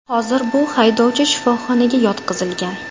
Hozir bu haydovchi shifoxonaga yotqizilgan.